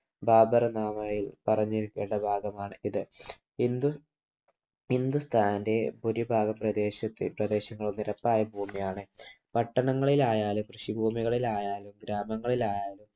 ബാബർ മാവോയിൽ പറഞ്ഞു കേട്ട വാതമാണ് ഇത്. ഹിന്ദുസ്‌ഥാൻ്റെ ഭൂരിഭാഗം പ്രദേശങ്ങളും നിരപ്പായ ഭൂമിയാണ്. പട്ടണങ്ങളിലായാലും, കൃഷിഭൂമികളിലായാലും, ഗ്രാമങ്ങളിലായാലും